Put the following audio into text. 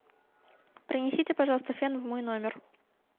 принесите пожалуйста фен в мой номер